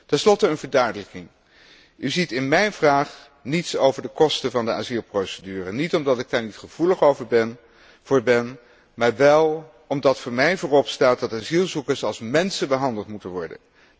Ten slotte een verduidelijking. U ziet in mijn vraag niets over de kosten van de asielprocedure, niet omdat ik daar niet gevoelig voor ben, maar wel omdat voor mij voorop staat dat asielzoekers als mensen behandeld moeten worden.